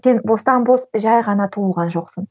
сен бостан бос жай ғана туылған жоқсың